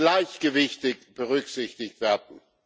gleichgewichtig berücksichtigt werden.